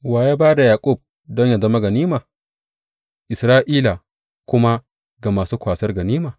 Wa ya ba da Yaƙub don yă zama ganima Isra’ila kuma ga masu kwasar ganima?